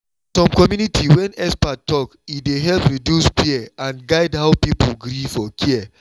for some community when expert talk e dey help reduce fear and guide how people gree for care.